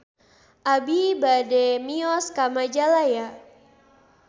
Abi bade mios ka Majalaya